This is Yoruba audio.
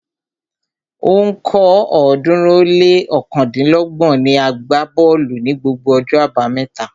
Ó ń kọ́ ọ̀ọ́dúnrún ó lé ọ̀kándínlọ́gbọ̀n niàgbá bọ́ọ̀lù ní gbogbo ọjọ́ abámẹ́ta